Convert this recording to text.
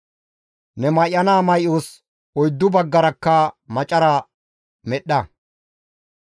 Ne may7ana may7os oyddu baggarakka macara medhdha.